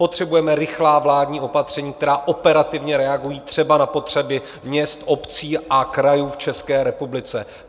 Potřebujeme rychlá vládní opatření, která operativně reagují třeba na potřeby měst, obcí a krajů v České republice.